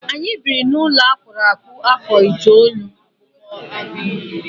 Anyị biri n'ụlọ akpụrụ akpụ afọ itoolu.